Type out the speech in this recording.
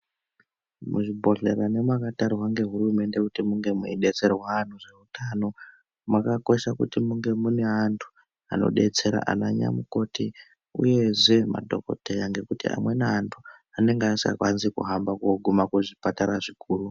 Muzvibhodhlera nemakatarwa ngehurumende kuti munge meidetserwa antu zveutano, makakosha kuti munge mune antu, anodetsera ananyamukoti uyezve madhokoteya ,ngekuti amweni antu, anenga asikwanisi kuhamba kooguma kuzvipatara zvikuru.